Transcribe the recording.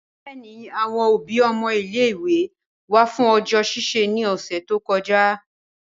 Bẹẹni, awọn obi ọmọ ile-iwe wa fun ọjọ ṣiṣi ni ọsẹ to kọja.